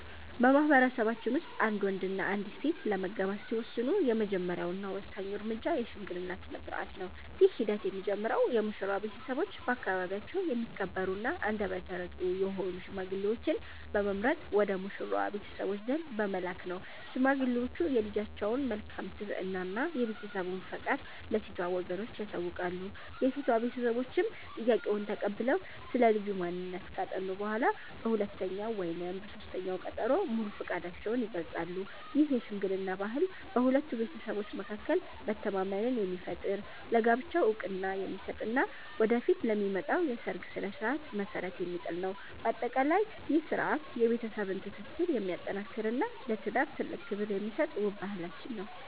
በማኅበረሰባችን ውስጥ አንድ ወንድና አንዲት ሴት ለመጋባት ሲወስኑ፣ የመጀመሪያውና ወሳኙ እርምጃ የሽምግልና ሥርዓት ነው። ይህ ሂደት የሚጀምረው የሙሽራው ቤተሰቦች በአካባቢያቸው የሚከበሩና አንደበተ ርትዑ የሆኑ ሽማግሌዎችን በመምረጥ ወደ ሙሽራዋ ቤተሰቦች ዘንድ በመላክ ነው። ሽማግሌዎቹ የልጃቸውን መልካም ስብዕና እና የቤተሰቡን ፈቃድ ለሴቷ ወገኖች ያሳውቃሉ። የሴቷ ቤተሰቦችም ጥያቄውን ተቀብለው ስለ ልጁ ማንነት ካጠኑ በኋላ፣ በሁለተኛው ወይም በሦስተኛው ቀጠሮ ሙሉ ፈቃዳቸውን ይገልጻሉ። ይህ የሽምግልና ባህል በሁለቱ ቤተሰቦች መካከል መተማመንን የሚፈጥር፣ ለጋብቻው ዕውቅና የሚሰጥ እና ወደፊት ለሚመጣው የሰርግ ሥነ ሥርዓት መሠረት የሚጥል ነው። በአጠቃላይ፣ ይህ ሥርዓት የቤተሰብን ትስስር የሚያጠናክርና ለትዳር ትልቅ ክብር የሚሰጥ ውብ ባህላችን ነው።